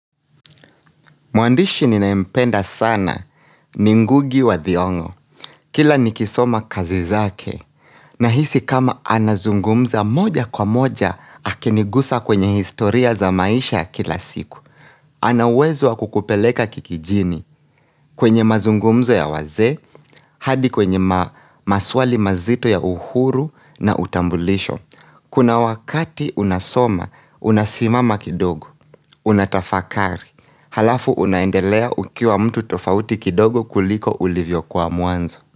Mwandishi ninayempenda sana ni ngugi wa thiongo. Kila nikisoma kazi zake nahisi kama anazungumza moja kwa moja akinigusa kwenye historia za maisha ya kila siku. Ana uwezo wa kukupeleka kikijini kwenye mazungumzo ya wazee hadi kwenye maswali mazito ya uhuru na utambulisho. Kuna wakati unasoma, unasimama kidogo, unatafakari Halafu unaendelea ukiwa mtu tofauti kidogo kuliko ulivyo kwa muanzo.